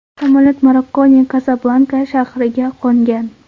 Samolyot Marokkoning Kasablanka shahriga qo‘ngan.